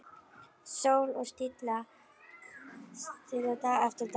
Sól og stilla dag eftir dag.